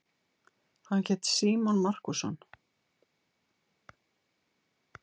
Hann hét Símon Markússon.